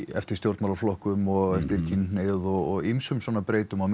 eftir stjórnmálaflokkum og eftir kynhneigð og ýmsum svona breytum menn